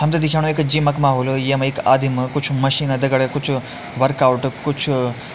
हमते दिख्याणु एक ज़िम क माहौल यमा एक आदिम कुछ मशीन दगड़ा कुछ वर्कआउट कुछ --